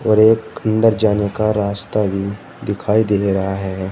और एक अंदर जाने का रास्ता भी दिखाई दे रहा है।